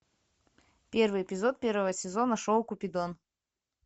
первый эпизод первого сезона шоу купидон